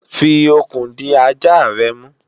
fi okùn di ajá rẹ mú!